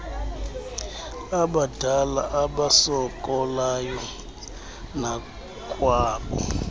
abadala abasokolayo nakwabo